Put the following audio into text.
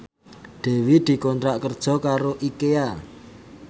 Dewi dikontrak kerja karo Ikea